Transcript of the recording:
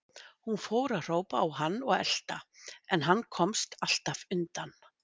Hún fór að hrópa á hann og elta, en hann komst alltaf undan.